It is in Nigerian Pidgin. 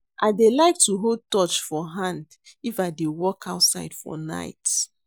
I dey like to hold torch for hand if I dey walk outside for night